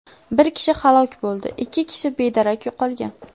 Bir kishi halok bo‘ldi, ikki kishi bedarak yo‘qolgan .